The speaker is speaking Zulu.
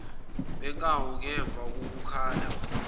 benkawu ngemva kokukhala